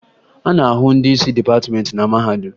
A na-ahụ ndị isi dịpatịmentị na mahadum